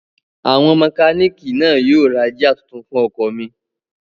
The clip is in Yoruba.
Àwọn mẹkánìkì náà yóò ra jíà tuntun fún ọkọ̀ mi